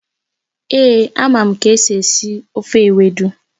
Èé, amam ka esi esi ofe Ewedu